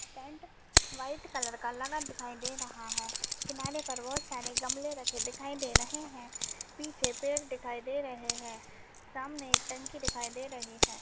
Tent white colour का लगा दिखाई दे रहा है किनारे पर बहोत सारे गमले रखे दिखाई दे रहे हैं पीछे पेड़ दिखाई दे रहे है सामने एक टंकी दिखाई दे रही है।